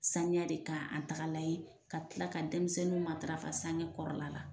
Sanuya de k'an tagalan ye ka tila ka denmisɛnnuw matarafa sange kɔrɔla la